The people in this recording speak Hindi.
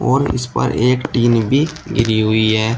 और उस पर एक टीन भी गिरी हुई है।